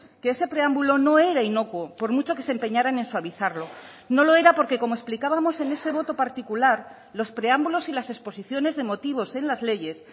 que ese preámbulo no era inocuo por mucho que se empeñaran en suavizarlo no lo era porque como explicábamos en ese voto particular los preámbulos y las exposiciones de motivos en las leyes